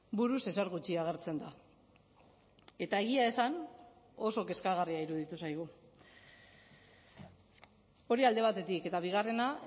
buruz ezer gutxi agertzen da eta egia esan oso kezkagarria iruditu zaigu hori alde batetik eta bigarrena